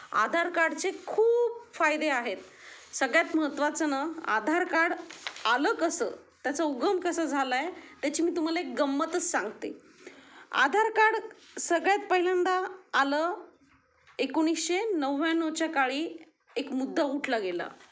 आधार कार्डचे खूप फायदे आहेत सगळयात महत्वाचं ना आधार कार्ड आलं कसं त्याचा उगम कसा झाला आहे त्याची मी तुम्हाला एक गंमतच सांगते आधार कार्ड सगळ्यात पहिल्यांदा आलं १९९९ चा काळी एक मुद्दा उठला गेला.